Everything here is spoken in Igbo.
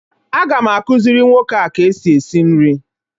Aga m akụzịrị nwoke a ka e si esi nri